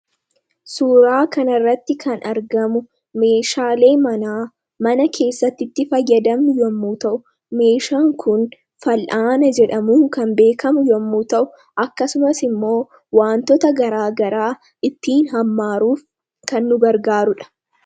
suuraa kanarratti kan argamu meeshaalee manaa mana keessatti itti fayadamamu yommuu ta'u, meeshaan kun fal'aana jedhamuun kan beekamu yommuu ta'u akkasumas immoo wantoota garaa garaa ittiin hammaaruuf kan nu gargaarudha